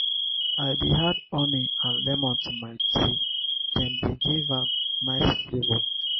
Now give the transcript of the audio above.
i dey add honey and lemon to my tea dem dey give am nice flavor.